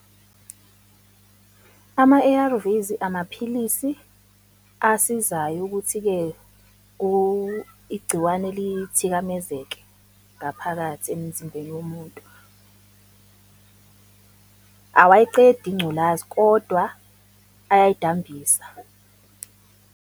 Ama-A_R_Vs, amaphilisi asizayo ukuthi-ke igciwane lithikamezeke ngaphakathi emzimbeni womuntu. Awayiqedi ingculazi, kodwa ayayidambisa.